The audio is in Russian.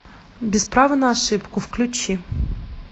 без права на ошибку включи